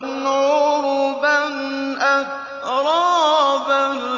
عُرُبًا أَتْرَابًا